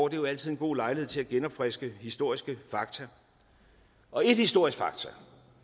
er jo altid en god lejlighed til at genopfriske historiske fakta og et historisk faktum